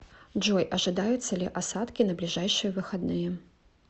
джой ожидаются ли осадки на ближайшие выходные